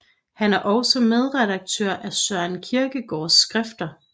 Han er også medredaktør af Søren Kierkegaards Skrifter